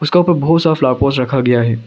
उसका ऊपर बहुत सारा फ्लावर पॉट्स रखा गया है।